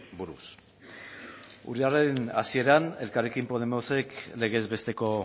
buruz urriaren hasieran elkarrekin podemosek legez besteko